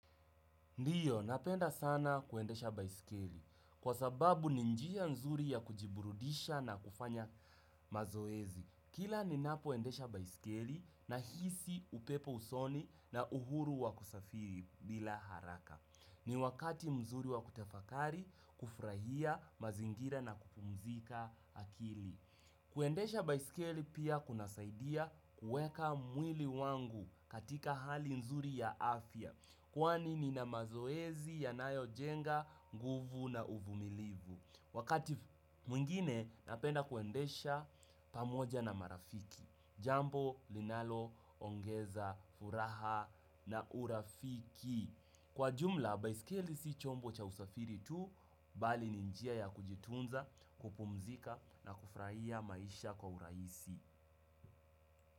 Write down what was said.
Ndiyo, napenda sana kuendesha baisikeli. Kwa sababu ni njia nzuri ya kujiburudisha na kufanya mazoezi. Kila ninapoendesha baisikeli nahisi upepo usoni na uhuru wa kusafiri bila haraka. Ni wakati mzuri wa kutafakari kufurahia mazingira na kupumzika akili. Kuendesha baisikeli pia kuna saidia kuweka mwili wangu katika hali nzuri ya afya. Kwani nina mazoezi yanayo jenga, nguvu na uvumilivu. Wakati mwingine napenda kuendesha pamoja na marafiki. Jambo linalo, ongeza furaha na urafiki. Kwa jumla, baisikeli si chombo cha usafiri tu. Bali ni njia ya kujitunza, kupumzika na kufurahia maisha kwa uraisi.